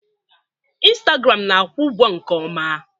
Instagram na-akwụ ụgwọ nke ọma.